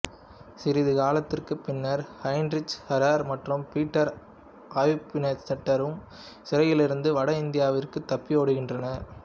சிறிது காலத்திற்குப் பின்னர் ஹெயின்ரிச் ஹாரெர் மற்றும் பீட்டர் ஆவ்ப்சினைட்டரும் சிறையிலிருந்து வட இந்தியாவிற்குத் தப்பியோடுகின்றனர்